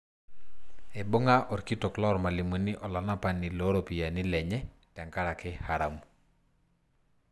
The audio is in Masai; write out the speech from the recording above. Eibung'a orkitok loormalimuni olanapani looropiyiani lenye tenkaraki haramu.